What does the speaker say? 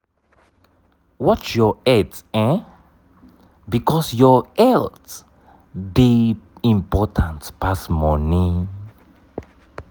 watch your health um because your health dey important pass money